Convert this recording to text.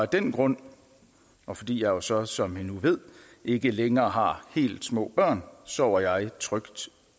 den grund og fordi jeg også som i nu ved ikke længere har helt små børn sover jeg trygt